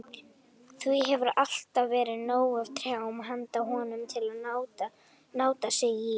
Því hefur alltaf verið nóg af trjám handa honum, til að nátta sig í.